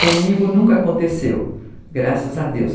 Comigo nunca aconteceu, graças a Deus.